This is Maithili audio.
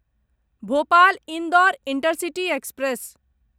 Bhopal Indore intercity express